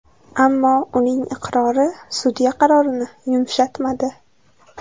Ammo uning iqrori sudya qarorini yumshatmadi.